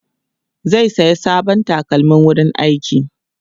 zai saya sabon takalmin wurin aiki